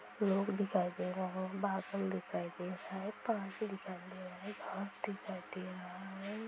लोग दिखाई दे रहे है बादल दिखाई दे रहा है पानी दिखाई दे रहे है घास दिखाई दे रहा है।